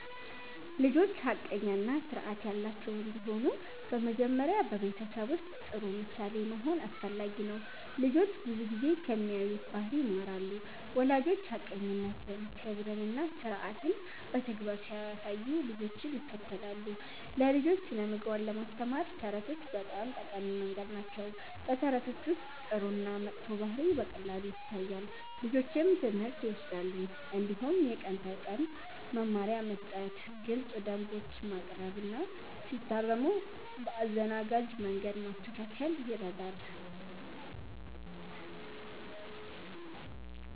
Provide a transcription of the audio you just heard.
ልጆች ሐቀኛ እና ስርዓት ያላቸው እንዲሆኑ በመጀመሪያ በቤተሰብ ውስጥ ጥሩ ምሳሌ መሆን አስፈላጊ ነው። ልጆች ብዙ ጊዜ ከሚያዩት ባህሪ ይማራሉ። ወላጆች ሐቀኝነትን፣ ክብርን እና ስርዓትን በተግባር ሲያሳዩ ልጆችም ይከተላሉ። ለልጆች ስነ-ምግባር ለማስተማር ተረቶች በጣም ጠቃሚ መንገድ ናቸው። በተረቶች ውስጥ ጥሩ እና መጥፎ ባህሪ በቀላሉ ይታያል፣ ልጆችም ትምህርት ይወስዳሉ። እንዲሁም የቀን ተቀን መመሪያ መስጠት፣ ግልፅ ደንቦች ማቅረብ እና ሲታረሙ በአዘናጋጅ መንገድ ማስተካከል ይረዳል።